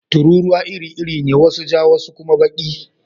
Tururuwa iri-iri ne, wasu ja wasu kuma baki.